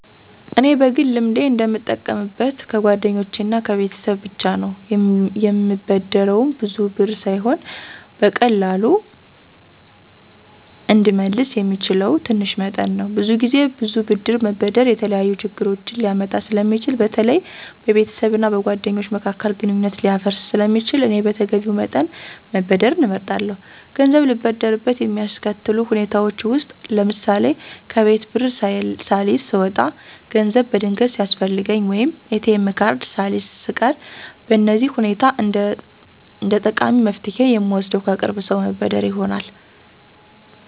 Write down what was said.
እኔ በግል ልምዴ እንደምጠቀምበት ከጓደኞቼ እና ከቤተሰብ ብቻ ነው፤ የምበደረውም ብዙ ብር ሳይሆን በቀላሉ እንድመለስ የሚችለው ትንሽ መጠን ነው። ብዙ ጊዜ ብዙ ብር መበደር የተለያዩ ችግሮችን ሊያመጣ ስለሚችል በተለይ በቤተሰብ እና በጓደኞች መካከል ግንኙነት ሊያፈርስ ስለሚችል እኔ በተገቢው መጠን መበደርን እመርጣለሁ። ገንዘብ ልበደርበት የሚያስከትሉ ሁኔታዎች ውስጥ ለምሳሌ፣ ከቤት ብር ሳልይዝ ስወጣ፣ ገንዘብ በድንገት ሲያስፈልገኝ፣ ወይም ATM ካርድ ሳልይዝ ስቀር በእነዚህ ሁኔታ እንደጠቃሚ መፍትሄ የምወስደው ከቅርብ ሰው መበደር ይሆናል።